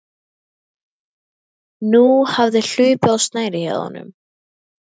Nú hafði hlaupið á snærið hjá honum.